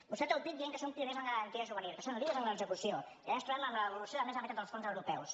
vostè treu pit dient que són pioners en garantia juvenil que són líders en l’execució i ara ens trobem amb l’evolució de més de la meitat dels fons europeus